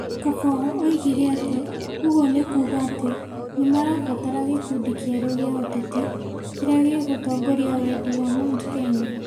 Kabogo oigire atĩ ũguo nĩ kuuga atĩ nĩ marabatara gĩkundi kĩerũ gĩa ũteti kĩrĩa gĩgũtongoria wendi wa Mt Kenya.